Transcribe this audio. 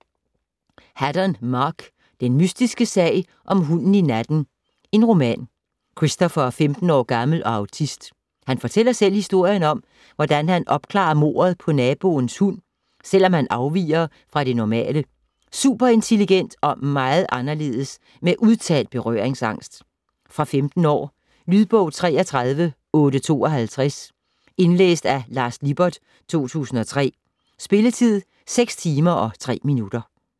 Haddon, Mark: Den mystiske sag om hunden i natten: roman Christopher er 15 år gammel og autist. Han fortæller selv historien om, hvordan han opklarer mordet på naboens hund, selvom han afviger fra det normale: super-intelligent og meget anderledes med udtalt berøringsangst. Fra 15 år. Lydbog 33852 Indlæst af Lars Lippert, 2003. Spilletid: 6 timer, 3 minutter.